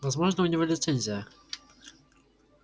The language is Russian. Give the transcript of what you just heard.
возможно у него лицензия